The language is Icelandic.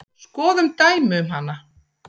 Skoðum dæmi um hana